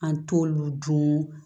An t'olu dun